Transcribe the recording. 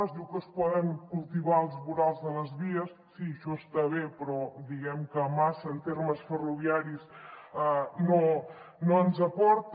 es diu que es poden cultivar els vorals de les vies sí això està bé però diguem que massa en termes ferroviaris no ens aporta